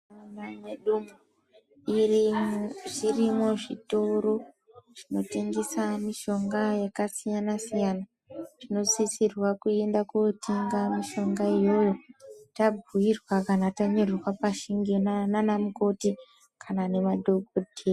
Munharaunda mwedu zvirimwo zvitoro zvinotengese mitombo yakasiyana siyana. Tinosisirwe kutenga mitombo yona iyoyo tabhuirwa kana tanyorerwa pashi ngemadhokodheya kana anamukoti.